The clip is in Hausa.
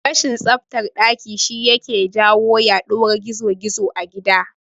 Rashin tsaftan daki shi yake jawo yaduwar gizo-gizo a gida